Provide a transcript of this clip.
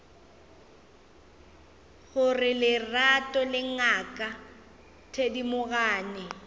gore lerato le ngaka thedimogane